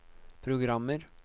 programmer